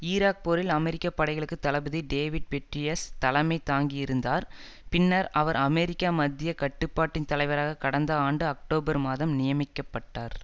Iraq போரில் அமெரிக்க படைகளுக்கு தளபதி டேவிட் பெட்ரீயஸ் தலைமை தாங்கியிருந்தார் பின்னர் அவர் அமெரிக்கா மத்திய கட்டுப்பாட்டின் தலைவராக கடந்த ஆண்டு அக்டோபர் மாதம் நியமிக்க பட்டார்